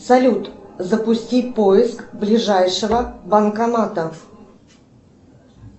салют запусти поиск ближайшего банкомата